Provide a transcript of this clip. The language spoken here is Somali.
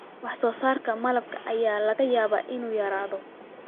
Wax soo saarka malabka ayaa laga yaabaa inuu yaraado.